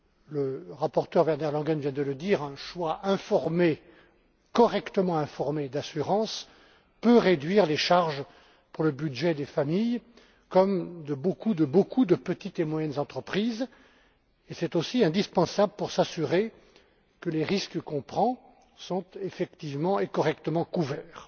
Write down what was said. Le rapporteur Werner Langen vient de le dire un choix correctement informé d'assurance peut réduire les charges pour le budget des familles comme pour celui de beaucoup de petites et moyennes entreprises, et ce choix est aussi indispensable pour s'assurer que les risques que l'on prend sont effectivement et correctement couverts.